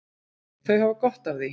Þau hafa gott af því.